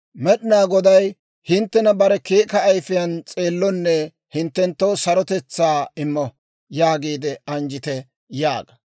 Med'inaa Goday hinttena bare keeka ayifiyaan s'eellonne hinttenttoo sarotetsaa immo» yaagiide anjjite› yaaga.